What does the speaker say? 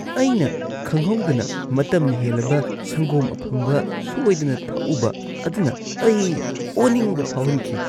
ꯑꯩꯅ ꯈꯪꯍꯧꯗꯅ ꯃꯇꯝ ꯍꯦꯜꯂꯕ ꯁꯪꯒꯣꯝ ꯑꯐꯝꯕ ꯁꯣꯏꯗꯅ ꯊꯛꯎꯕ ꯑꯗꯨꯅ ꯑꯩ ꯑꯣꯅꯤꯡꯕ ꯐꯥꯎꯍꯟꯈꯤ ꯫